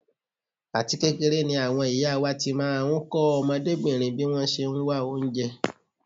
Àti kékeré ni àwọn ìyá wá ti máa ń kọ́ ọmọdébìnrin bí wọ́n ṣe ń wá oúnjẹ.